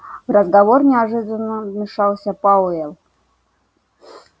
в разговор неожиданно вмешался пауэлл